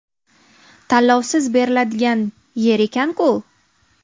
Tanlovsiz beriladigan yer ekan-ku!